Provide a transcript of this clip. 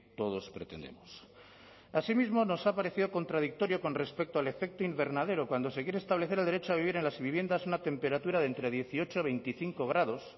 todos pretendemos así mismo nos ha parecido contradictorio con respecto al efecto invernadero cuando se quiere establecer el derecho a vivir en las viviendas una temperatura de entre dieciocho y veinticinco grados